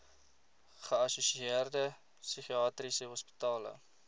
geassosieerde psigiatriese hospitale